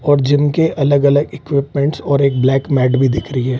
और जिम के अलग-अलग इक्विपमेंट्स और एक ब्लैक मैट भी दिख रही है।